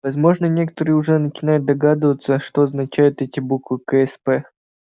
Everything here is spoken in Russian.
возможно некоторые уже начинают догадываться что означают эти буквы ксп